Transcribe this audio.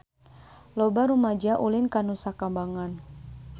Loba rumaja ulin ka Nusa Kambangan